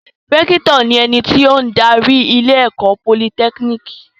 Rẹ́kítọ̀ ni ẹni tó ń darí ilé-ẹ̀kọ́ Politẹ́kínìkì.